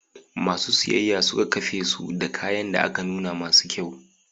Masu siyayya suka kafesu da kayan da aka nuna masu kyau.